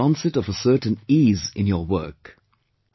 You will feel the onset of a certain ease in your work